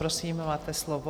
Prosím, máte slovo.